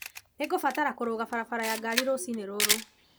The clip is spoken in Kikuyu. Nĩngũbatara kũrũga barabara ya ngari rũciinĩ rũrũ